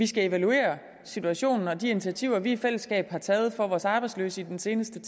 skal evaluere situationen og de initiativer vi i fællesskab har taget for vores arbejdsløse i den seneste